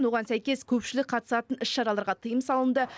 оған сәйкес көпшілік қатысатын іс шараларға тиым салынды